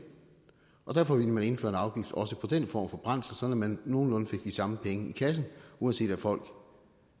derfor ville man indføre en afgift også på den form for brændsel sådan at man nogenlunde fik de samme penge i kassen uanset om folk